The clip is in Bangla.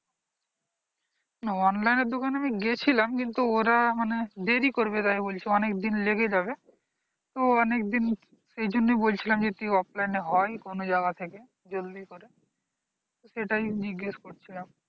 online এর দোকানে আমি গিয়েছিলাম কিন্তু ওরা মানে দেরি করবে এরাই বলছে অনেক দিন লেগে যাবে অনেকদিন এজন্য বলছিলাম যে তুই offline হয় কোন জায়গা থেকে জলদি করে এটাই জিজ্ঞেস করছিলাম।